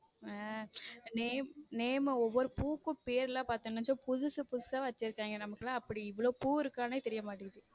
Name name ஒரு ஒரு பூக்கும் பெயர் பார்த்தீங்கன்னா புதுசு புதுசா வச்சிருக்காங்க நமக்கெல்லாம் அப்படி இவளோ பூ இருக்கான்னு தெரிய மாட்டேங்குது.